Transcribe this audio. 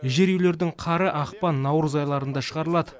жер үйлердің қары ақпан наурыз айларында шығарылады